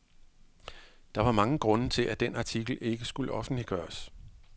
Der var mange grunde til at den artikel ikke skulle offentliggøres.